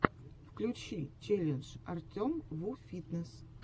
включи челлендж артемвуфитнесс